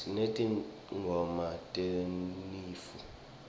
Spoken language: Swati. sinetingoma tesinifu